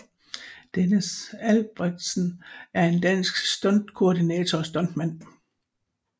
Dennis Albrethsen er en dansk stuntkoordinator og stuntman